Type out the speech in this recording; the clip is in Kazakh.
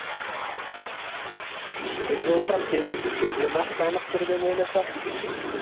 біз болсақ сені бекерге мақтанып тұр деп ойласақ